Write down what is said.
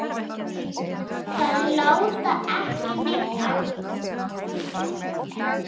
Það lá ekki neitt á.